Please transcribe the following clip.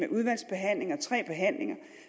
udvalgsbehandling og tre behandlinger